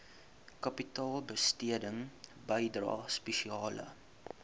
kapitaalbesteding bydrae spesiale